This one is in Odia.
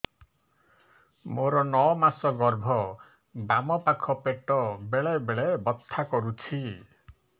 ମୋର ନଅ ମାସ ଗର୍ଭ ବାମ ପାଖ ପେଟ ବେଳେ ବେଳେ ବଥା କରୁଛି